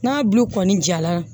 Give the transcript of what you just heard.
N'a bulu kɔni jara